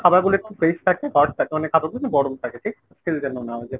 খাবারগুলো একটু fresh থাকে hot থাকে মানে খাবারগুলো যেন গরম থাকে ঠিক আছে ? যেন না হয়ে যায়।